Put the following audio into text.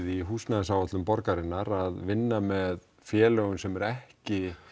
í húsnæðisáætlun borgarinnar að vinna með félögum sem eru ekki